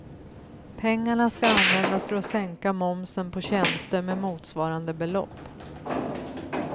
Pengarna ska användas för att sänka momsen på tjänster med motsvarande belopp.